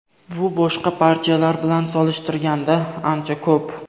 Bu boshqa partiyalar bilan solishtirganda ancha ko‘p.